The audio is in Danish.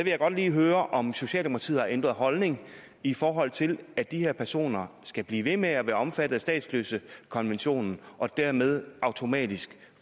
jeg godt lige høre om socialdemokratiet har ændret holdning i forhold til at de her personer skal blive ved med at være omfattet af statsløsekonventionen og dermed automatisk